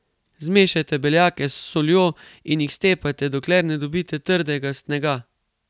Zmešajte beljake s soljo in jih stepajte, dokler ne dobite trdnega snega.